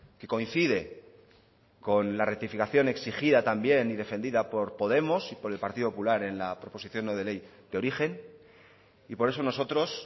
que coincide con la rectificación exigida también y defendida por podemos y por el partido popular en la proposición no de ley de origen y por eso nosotros